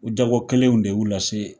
O jago kelenw de y'u lase.